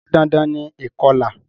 Se dandan ni ìkolà?